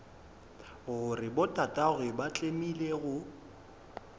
gore botatagwe ba tlemile go